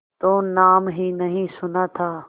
तो नाम ही नहीं सुना था